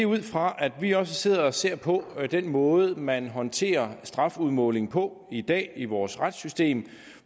ud fra at vi også sidder og ser på den måde man håndterer strafudmåling på i dag i vores retssystem